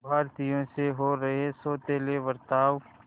भारतीयों से हो रहे सौतेले बर्ताव